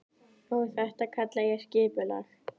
Og þetta kalla ég skipulag.